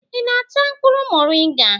ị na-ata mkpụrụ moringa?